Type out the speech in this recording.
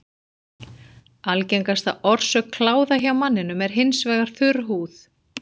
Algengasta orsök kláða hjá manninum er hins vegar þurr húð.